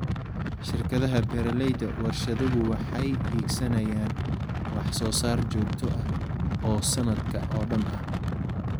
Shirkadaha beeralayda warshaduhu waxay hiigsanayaan wax soo saar joogto ah oo sanadka oo dhan ah.